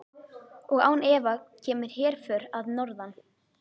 Og án efa kemur herför að norðan.